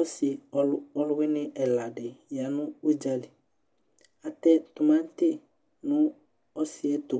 Ɔsi ɔluwini ɛladi ya nu udzali atɛ timati nu ɔsiɛtu